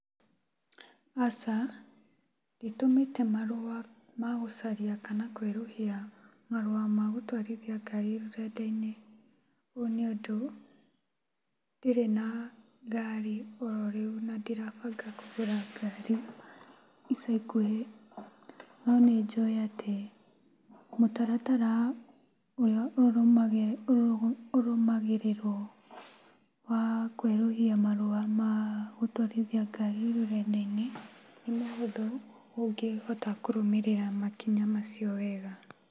Aca nditũmĩte marũa ma gũcaria kana kwerũhia marũa ma gũtwarithia ngari rũrenda-inĩ. ũũ nĩũndũ, ndirĩ na ngari ororĩu na ndirabanga kũra ngari ica ikuhĩ. No nĩnjũĩ atĩ mũtaratara ũrũmagĩrĩrwo wa kwerũhia gũtwarithia ngari rũrenda-inĩ nĩmũthũ, ũngĩhota kũrũmĩrĩra makinya macio wega.